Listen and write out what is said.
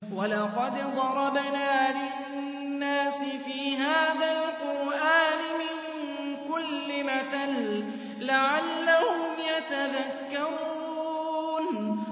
وَلَقَدْ ضَرَبْنَا لِلنَّاسِ فِي هَٰذَا الْقُرْآنِ مِن كُلِّ مَثَلٍ لَّعَلَّهُمْ يَتَذَكَّرُونَ